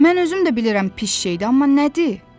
Mən özüm də bilirəm pis şeydi, amma nədir?